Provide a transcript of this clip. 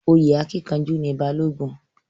Oyè akínkanjú ni Balógun.